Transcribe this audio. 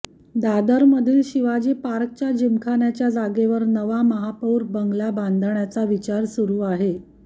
दादरमधील शिवाजी पार्कच्या जिमखान्याच्या जागेवर नवा महापौर बंगला बांधण्याचा विचार सुरु आहे